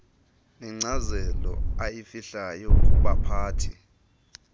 nenkcazelo ayifihlayo kubaphathi